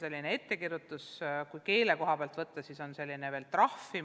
On ka ettekirjutused ja kui keelevaldkonda vaadata, siis on ka trahvid.